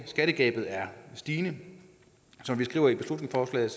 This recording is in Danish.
skattegabet er stigende som vi skriver i beslutningsforslaget